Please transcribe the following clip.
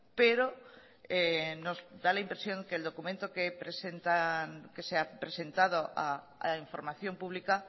pero nos da la impresión que el documento que se ha presentado a la información pública